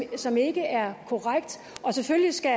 som ikke er korrekt og selvfølgelig skal